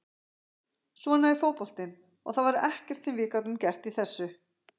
Svona er fótboltinn og það var ekkert sem við gátum gert í þessu.